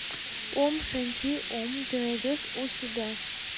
ом шанти ом ты найдешь у себя